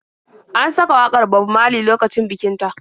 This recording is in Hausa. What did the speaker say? An saka wakar Bob Maley lokacin bikin ta.